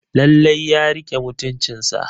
Lallai ya rike mutuncinsa.